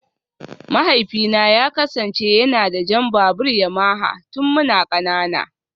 Mahaifina ya kasance yana da jan babur Yamaha tun muna kanana